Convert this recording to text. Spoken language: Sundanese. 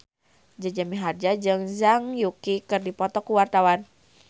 Jaja Mihardja jeung Zhang Yuqi keur dipoto ku wartawan